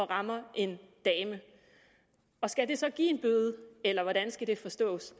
rammer en dame og skal det så give en bøde eller hvordan skal det forstås